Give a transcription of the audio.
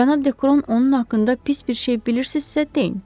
Cənab Dekron, onun haqqında pis bir şey bilirsizsə deyin.